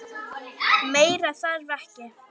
Meira þarf ekki.